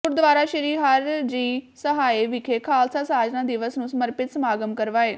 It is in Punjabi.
ਗੁਰਦੁਆਰਾ ਸ੍ਰੀ ਹਰਿ ਜੀ ਸਹਾਇ ਵਿਖੇ ਖਾਲਸਾ ਸਾਜਨਾ ਦਿਵਸ ਨੂੰ ਸਮਰਪਿਤ ਸਮਾਗਮ ਕਰਵਾਏ